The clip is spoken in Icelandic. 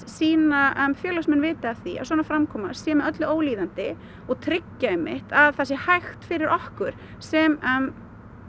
sína félagsmenn vita af því að svona framkoma sé með öllu ólíðandi og tryggja einmitt að það sé hægt fyrir okkur sem